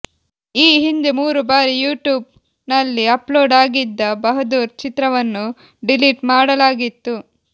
ಈ ಹಿಂದೆ ಮೂರು ಬಾರಿ ಯುಟ್ಯೂಬ್ ನಲ್ಲಿ ಅಪ್ಲೋಡ್ ಆಗಿದ್ದ ಬಹದ್ದೂರ್ ಚಿತ್ರವನ್ನು ಡಿಲಿಟ್ ಮಾಡಲಾಗಿತ್ತು